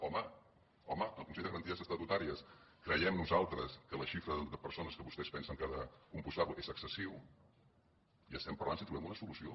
home home el consell de garanties estatutàries creiem nosaltres que la xifra de persones que vostès pensen que ha de compondre’l és excessiva i estem parlant si trobem una solució